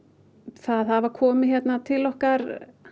það hafa komið hérna til okkar